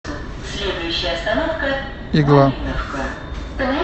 игла